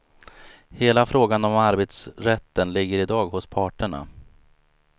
Hela frågan om arbetsrätten ligger i dag hos parterna.